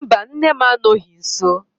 Mba, nne m anọghị nsọ